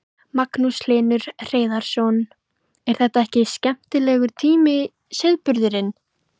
Magnús Hlynur Hreiðarsson: er þetta ekki skemmtilegur tími sauðburðurinn?